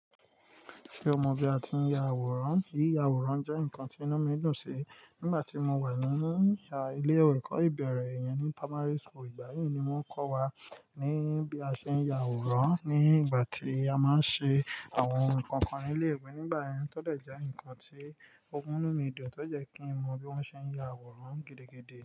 Ṣé o mọ bí a ti ń ya àwòrán? Yíya àwòrán jẹ́ nǹkan tí inú mi dùn sí. Nígbà tí mo wà ni ilé ìwé ẹ̀kọ́ ìbẹ̀rẹ̀ yẹn ní primary school, ìgbà yẹn ni wọ́n kọ́ wa ní bí a ṣe ń ya àwòrán. Ní ìgbà tí a máa ń ṣe àwọn ohun kan kan ní ilé ìwé nígbà yẹn, tó dẹ̀ já nǹkan tí ó mú inú mi dùn, tó jẹ́ kí n mọ bí wọ́n ṣe ń ya àwòrán gidi gidí.